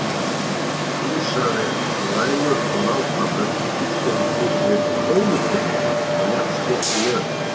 Fílsraninn er svo næmur og nákvæmur að fíll getur tekið upp krónupening af jafnsléttri jörð.